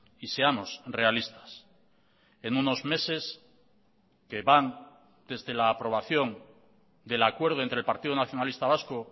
y seamos realistas en unos meses que van desde la aprobación del acuerdo entre el partido nacionalista vasco